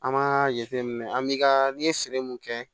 An b'a jateminɛ an bi ka n'i ye feere mun kɛ